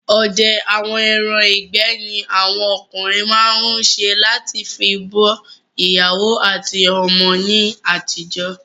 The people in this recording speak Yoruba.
Odẹ àwọn ẹran ìgbẹ́ ni awọn okùnrin máa n se lati fi bọ́ ìyàwó àti ọmọ ní àtijọ́